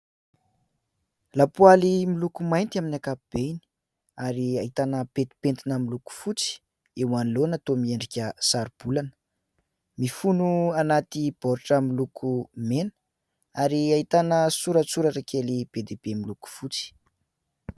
Lapoaly miloko mainty amin'ny ankapobeny ary ahitana pentimpentina miloko fotsy eo anoloana toa miendrika saro-bolana. Mifono anaty baoritra miloko mena ary ahitana soratsoratra kely be dia be miloko fotsy.